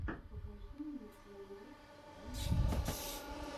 покажи мне коула энд сэв